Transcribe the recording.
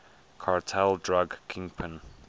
cartel drug kingpin